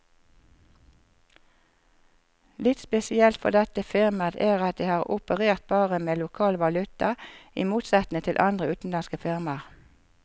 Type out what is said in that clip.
Litt spesielt for dette firmaet er at det har operert bare med lokal valuta, i motsetning til andre utenlandske firmaer.